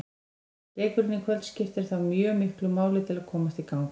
Leikurinn í kvöld skiptir þá því mjög miklu máli til að komast í gang.